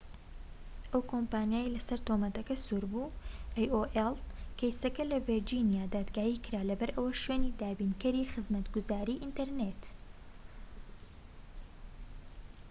کەیسەکە لە ڤیرجینیا دادگایی کرا لەبەرئەوەی شوێنی دابینکەری خزمەتگوزاری ئینتەرنێت aolە، ئەو کۆمپانیایەی لە سەر تۆمەتەکان سوور بوو